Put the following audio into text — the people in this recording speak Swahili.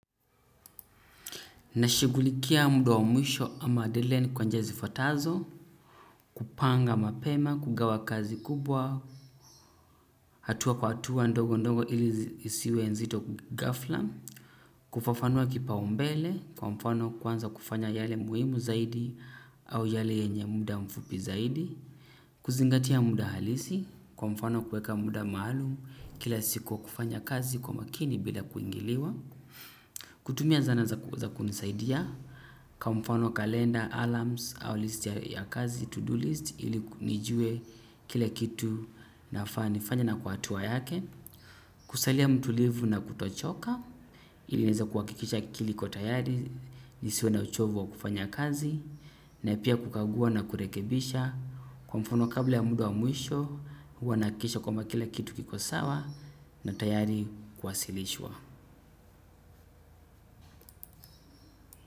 Nashughulikia muda wa mwisho ama adele ni kwanja zifatazo, kupanga mapema, kugawa kazi kubwa, hatua kwa hatua ndogo ndogo ili isiwe nzito ghafla, kufafanua kipaumbele kwa mfano kuanza kufanya yale muhimu zaidi au yale yenye muda mfupi zaidi, kuzingatia muda halisi kwa mfano kuweka muda maalum kila siku kwa kufanya kazi kwa makini bila kuingiliwa. Kutumia zana za kunisaidia, kwa mfano kalenda, alarms, au list ya kazi, to-do list, ili nijue kile kitu nafaa nifanye na kwa hatua yake, kusalia mtulivu na kutochoka, ili nieze kuhakikisha akili iko tayari, nisiwe na uchovu wa kufanya kazi, na pia kukagua na kurekebisha, kwa mfano kabla ya muda wa mwisho, huwa nahakikisha kwamba kila kitu kiko sawa, na tayari kuwasilishwa.